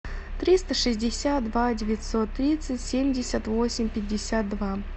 триста шестьдесят два девятьсот тридцать семьдесят восемь пятьдесят два